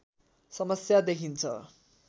समस्या देखिन्छ